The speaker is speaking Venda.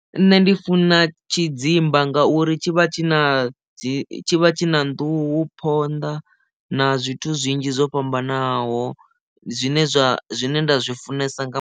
Nṋe ndi funa tshidzimba ngauri tshi vha tshi na dzi tshi vha tshi na nḓuhu phonḓa na zwithu zwinzhi zwo fhambanaho zwine zwa zwine nda zwi funesa nga.